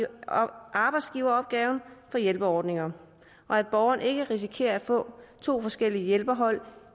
arbejdsgiveropgaven for hjælperordninger og at borgeren ikke risikerer at få to forskellige hjælperhold